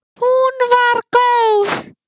Hún var góð.